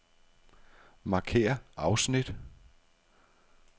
Markér afsnit.